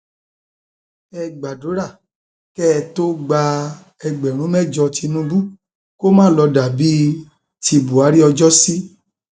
ẹ gbàdúrà kẹ ẹ tóó gba ẹgbẹrún mẹjọ tìnùbù kó má lọọ dà bíi ti buhari ọjọsí